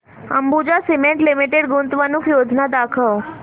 Ambuja cement limited गुंतवणूक योजना दाखव